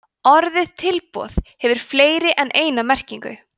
orðið tilboð hefur fleiri en eina merkingu